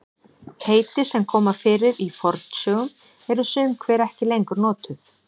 heiti sem koma fyrir í fornsögum eru sum hver ekki lengur notuð